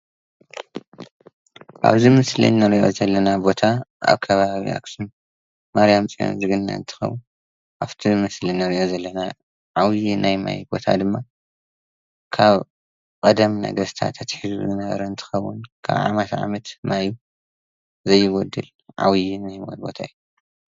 አብዚ ምስሊ እንሪኦ ዘለና ቦታ አብ ከባቢ ናይ አክሱም ማርያም ፅዮን ዝግነ እንትኸውን፤ አፍቲ ምስሊ እንሪኦ ዘለና ዓብይ ናይ ማይ ቦታ ድማ ካብ ቀደም ነገስታት አትሒዙ ዝነበረ እንትኸውን ካብ ዓመት ዓመት ማይ ዘይጎድል ዓብይ ቦታ እዩ፡፡